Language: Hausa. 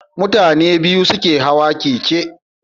Mutane biyu ke Hawa keke